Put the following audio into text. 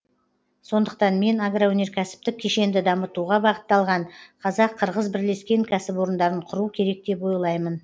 сондықтан мен агроөнеркәсіптік кешенді дамытуға бағытталған қазақ қырғыз бірлескен кәсіпорындарын құру керек деп ойлаймын